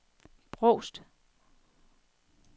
Brovst